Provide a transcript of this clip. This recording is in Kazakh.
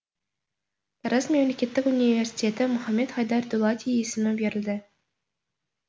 тараз мемлекеттік университетіне мұхаммед хайдар дулати есімі берілді